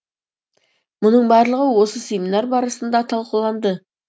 мұның барлығы осы семинар барысында талқыланды